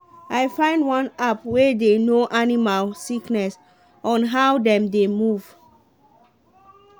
i find one app wey dey know animal sickness on how dem dey move.